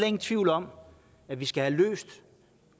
ingen tvivl om at vi skal have løst